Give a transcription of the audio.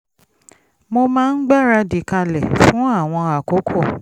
mo máa ń gbáradì kalẹ̀ fún àwọn àkókò